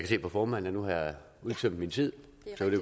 se på formanden at nu har jeg udtømt min tid